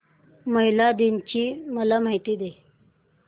महिला दिन ची मला माहिती दे